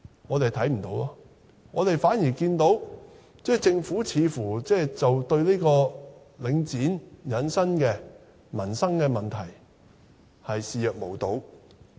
我們看不到，反而看到政府似乎對領展引起的民生問題，視若無睹。